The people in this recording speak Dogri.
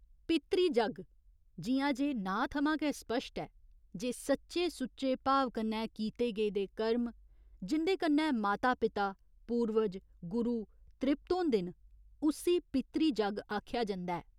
पितृ जग्ग, जि'यां जे नांऽ थमां गै स्पश्ट ऐ जे सच्चे सुच्चे भाव कन्नै कीते गेदे कर्म, जिं'दे कन्नै माता पिता, पूर्वज, गुरु त्रिप्त होंदे न, उस्सी पितृ जग्ग आखेआ जंदा ऐ।